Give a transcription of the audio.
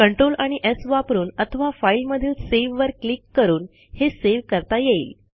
Ctrl आणि स् वापरून अथवा फाइल मधील सावे वर क्लिक करून हे सेव्ह करता येईल